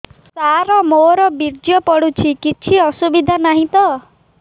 ସାର ମୋର ବୀର୍ଯ୍ୟ ପଡୁଛି କିଛି ଅସୁବିଧା ନାହିଁ ତ